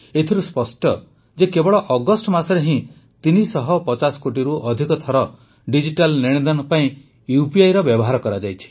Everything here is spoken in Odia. ଏଥିରୁ ସ୍ପଷ୍ଟ ଯେ କେବଳ ଅଗଷ୍ଟ ମାସରେ ହିଁ ୩୫୦ କୋଟିରୁ ଅଧିକ ଥର ଡିଜିଟାଲ ନେଣଦେଣ ପାଇଁ ୟୁପିଆଇର ବ୍ୟବହାର କରାଯାଇଛି